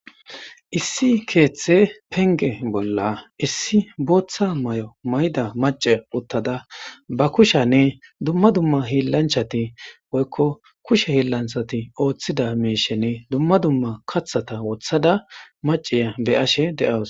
Issi keeththe penge bolla issi booththa may'o mayda mace uttada ba kushanne dumma dumma hillanchati woykko kushe hiillanthati ooththida meishenne dumma dumma kathata wothada maciya be ashe de'awus